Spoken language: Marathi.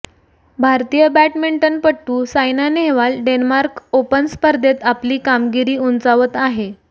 भारतीय बॅडमिंटनपटू सायना नेहवाल डेन्मार्क ओपन स्पर्धेत आपली कामगिरी उंचावत आहे